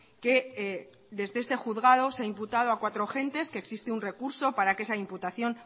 que desde este juzgado se ha imputado a cuatro agentes que existe un recurso para que esa imputación